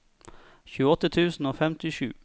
tjueåtte tusen og femtisju